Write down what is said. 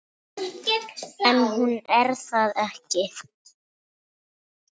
En hún er það ekki.